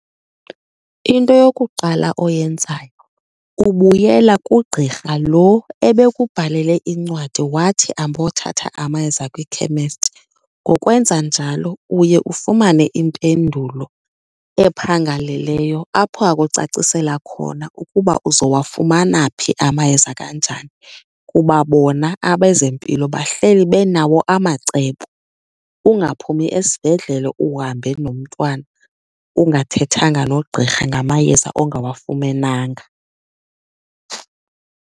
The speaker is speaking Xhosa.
Into yokuqala oyenzayo ubuyela kugqirha lo ebekubhalele incwadi wathi ambothatha amayeza kwikhemesti. Ngokwenza njalo uye ufumane impendulo ephangaleleyo apho akucacisela khona ukuba uzowafumana phi amayeza, kanjani. Kuba bona abezempilo bahleli benawo amacebo, ungaphumi esibhedlele uhambe nomntwana ungathethanga nogqirha ngamayeza ongawafumenanga.